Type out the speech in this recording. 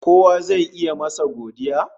Kowa zai yi masa godiya